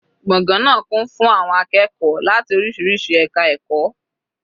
Gbọ̀ngàn náà kún fún àwọn akẹ́kọ̀ọ́ láti oríṣiríṣi ẹka ẹ̀kọ́.